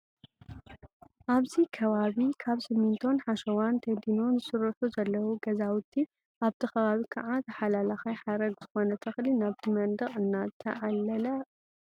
ኣብዚ ከባቢ ካብ ስሚቶን ሓሸዋን ተዲኖን ዝስርሑ ዘለው ገዛውቲ ኣብቲ ከባቢ ከዓ ተሓላላካይ ሓረግ ዝኮነ ተክሊ ናብቲ መደቅ እንዳዓለለ ኣ።